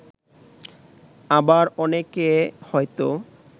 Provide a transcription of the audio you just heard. আবার অনেকে হয়তো